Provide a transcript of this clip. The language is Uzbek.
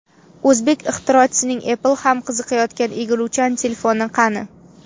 O‘zbek ixtirochisining Apple ham qiziqayotgan egiluvchan telefoni qani?